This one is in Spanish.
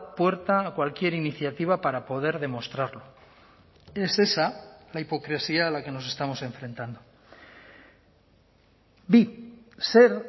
puerta a cualquier iniciativa para poder demostrarlo es esa la hipocresía a la que nos estamos enfrentando bi zer